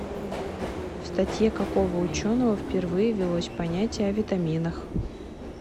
в статье какого ученого впервые ввелось понятие о витаминах